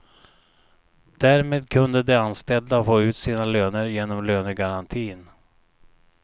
Därmed kunde de anställda få ut sina löner genom lönegarantin.